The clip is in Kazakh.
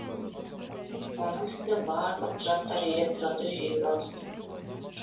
оның үстіне барлық құжаттар электронды жүйеге ауысты